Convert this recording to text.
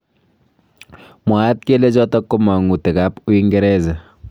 Mwaat kele chotok ko mangutik ab Uingereza.